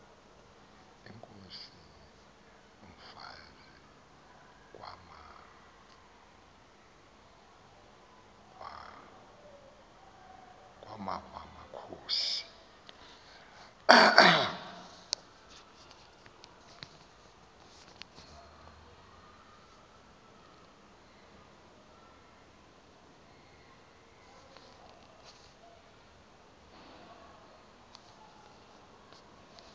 inkos umfazi kwamanvamakhosi